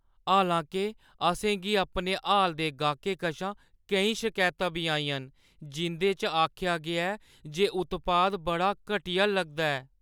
हालां-के, असें गी अपने हाल दे गाह्कें कशा केईं शकैतां बी आइयां न जिं 'दे च आखेआ गेआ ऐ जे उत्पाद बड़ा घटिया लगदा ऐ।